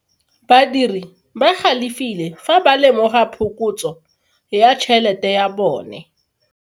Badiri ba galefile fa ba lemoga phokotso ya tšhelote ya bone.